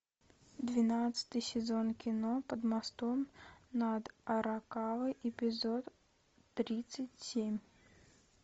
двенадцатый сезон кино под мостом над аракавой эпизод тридцать семь